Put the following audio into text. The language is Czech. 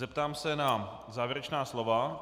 Zeptám se na závěrečná slova.